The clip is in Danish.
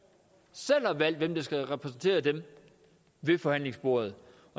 selv har valgt hvem der skal repræsentere dem ved forhandlingsbordet